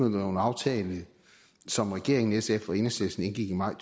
en aftale som regeringen sf og enhedslisten indgik i maj